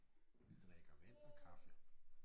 Vi drikker vand og kaffe